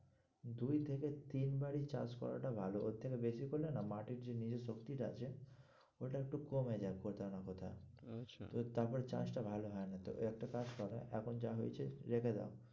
দুই থেকে তিনবারই চাষ করাটা ভালো, ওর থেকে বেশি করলে না মাটির যে নিজের শক্তিটা আছে ওটা একটু কমে যায়, কোথাও না কোথাও আচ্ছা, তো তারপরে চাষটা ভালো হয় না তো ওই একটা কাজ করো এখন যা হয়েছে রেখে দাও।